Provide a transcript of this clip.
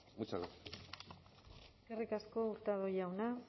muchas gracias eskerrik asko hurtado jauna